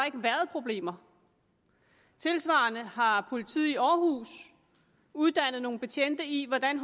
ikke været problemer tilsvarende har politiet i aarhus uddannet nogle betjente i hvordan